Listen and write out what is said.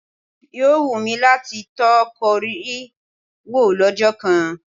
Yóò wù mí láti tọ́ Kóríà wò lọ́jọ́ kan.